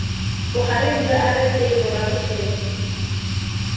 bogareng jwa rsa morago fela